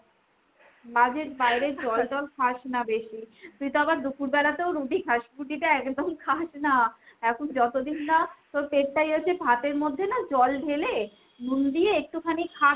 বাজেত বাইরে জল ঠল খাস না বেশি। তুই তো আবার দুপুরবেলাতেও রুটি খাস। রুটি তা একদম খাস না। এখন যতদিন না তোর পেট টা ইয়ে হচ্ছে ভাতের মধ্যে না জল ঢেলে নুন দিয়ে একটুখানি খাতো,